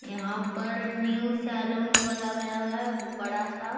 यहाँ पर new salon खोला गया है बड़ा-सा।